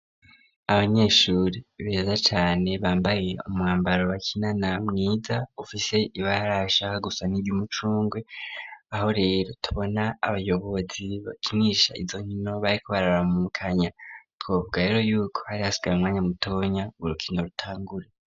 Abanyeshuri beza cane bambaye umwambaro wakinana mwiza ufise ibara rishaka gusa niryu umucungwe, aho rero tubona abayobozi bakinisha izonkino bariko bararamukanya twovuga rero yuko hari asigaye mwanya mutonya urukino rutangure.